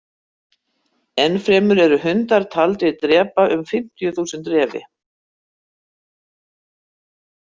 Enn fremur eru hundar taldir drepa um fimmtíu þúsund refi.